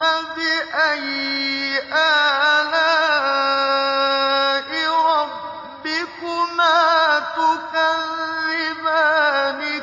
فَبِأَيِّ آلَاءِ رَبِّكُمَا تُكَذِّبَانِ